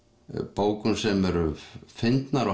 bókum sem eru fyndnar og